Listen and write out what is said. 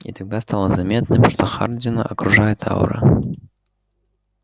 и тогда стало заметным что хардина окружает аура